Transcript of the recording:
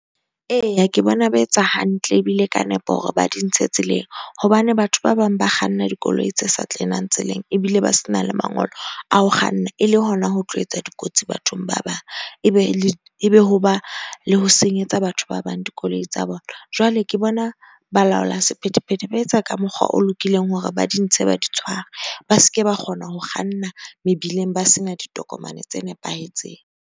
Eya ke bona ba etsa hantle ebile ka nepo hore ba di ntshe tseleng hobane batho ba bang ba kganna dikoloi tse sa tseleng ebile ba se na le mangolo a ho kganna. E le hona ho tlo etsa dikotsi bathong ba bang. Ebe le ebe ho ba le ho senyetsa batho ba bang dikoloi tsa bona. Jwale ke bona balaola sephethephethe ba etsa ka mokgwa o lokileng hore ba di ntshe, ba di tshware, ba ske ba kgona ho kganna mebileng ba sena ditokomane tse nepahetseng.